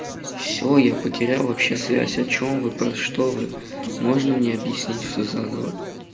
всё я потерял вообще связь о чём вы про что вы можно мне объяснить всё заново